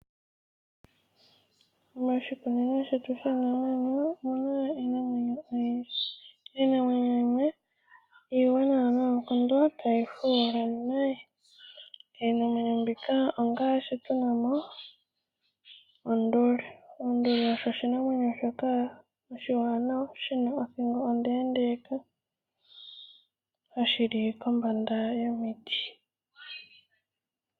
Moshikunino shetu shiinamwenyo omu na iinamwenyo oyindji. Iinamwenyo yimwe iiwanawa noonkondo tayi fuula. Iinamwenyo mbika ongaashi tu na mo onduli. Onduli oyo oshinamwenyo oshiwanawa shi na othingo ondeendeeka hashi li kombanda yomiti.